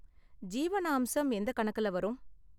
ஜீவனாம்சம் எந்த கணக்குல வரும்?